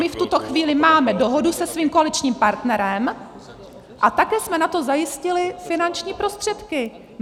My v tuto chvíli máme dohodu se svým koaličním partnerem a také jsme na to zajistili finanční prostředky.